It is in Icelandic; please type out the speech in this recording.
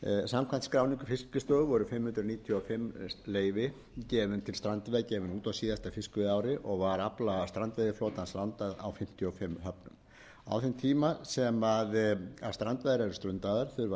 samkvæmt skráningu fiskistofu voru fimm hundruð níutíu og fimm leyfi gefin út á síðasta fiskveiðiári og var afla strandveiðiflotans landað á fimmtíu og fimm höfnum á þeim tíma sem strandveiðar eru stundaðar þurfa starfsmenn hafnanna sérstaklega smærri